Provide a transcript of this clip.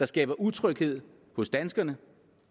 skaber utryghed hos danskerne